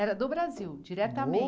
Era do Brasil,